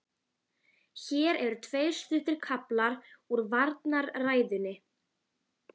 hélt biskup áfram eftir andartaks þögn.